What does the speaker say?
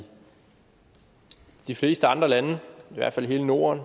de fleste andre lande i hvert fald i hele norden